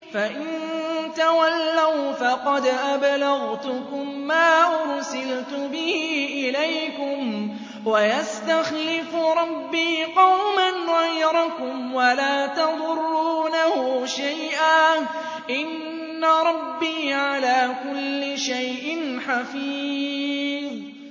فَإِن تَوَلَّوْا فَقَدْ أَبْلَغْتُكُم مَّا أُرْسِلْتُ بِهِ إِلَيْكُمْ ۚ وَيَسْتَخْلِفُ رَبِّي قَوْمًا غَيْرَكُمْ وَلَا تَضُرُّونَهُ شَيْئًا ۚ إِنَّ رَبِّي عَلَىٰ كُلِّ شَيْءٍ حَفِيظٌ